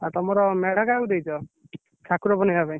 ଆଉ ତମର ମେଢ କାହାକୁ ଦେଇଛ? ଠାକୁର ବନେଇବା ପାଇଁ?